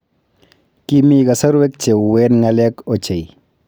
Kimii kasarwek che uen ngalek ochei